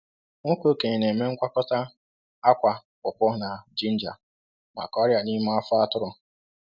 Nwoke okenye na-eme ngwakọta akwa pawpaw na jinja maka ọrịa n’ime afọ atụrụ.